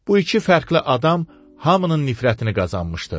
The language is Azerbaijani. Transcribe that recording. Bu iki fərqli adam hamının nifrətini qazanmışdı.